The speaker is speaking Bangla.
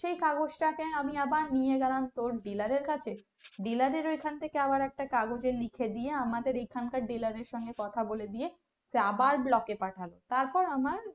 সেই কাগজ টাকে আমি আবার নিয়ে গেলাম dilar এর কাছে dilar এর ওখান থেকে আবার একটা কাগজ এ লিখে দিয়ে আমাদের এখানকার dilar এর সঙ্গে কথা বলে দিয়ে আবার block এ পাটালো তারপর আমার